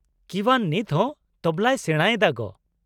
- ᱠᱤᱣᱟᱱ ᱱᱤᱛᱦᱚᱸ ᱛᱚᱵᱞᱟᱭ ᱥᱮᱲᱟ ᱮᱫᱟ ᱜᱳ ?